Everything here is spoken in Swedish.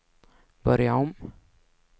börja om